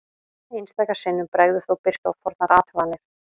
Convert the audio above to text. Einstaka sinnum bregður þó birtu á fornar athuganir.